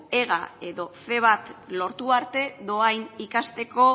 ega edo ce bat lortu arte dohain ikasteko